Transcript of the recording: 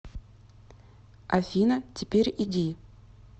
афина теперь иди